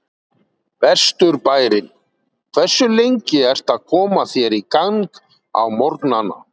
Vesturbærinn Hversu lengi ertu að koma þér í gang á morgnanna?